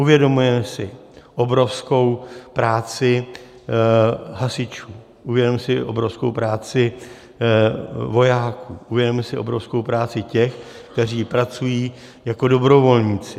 Uvědomujeme si obrovskou práci hasičů, uvědomujeme si obrovskou práci vojáků, uvědomujeme si obrovskou práci těch, kteří pracují jako dobrovolníci.